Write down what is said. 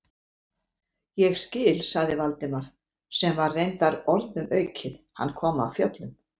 Ég skil- sagði Valdimar, sem var reyndar orðum aukið, hann kom af fjöllum.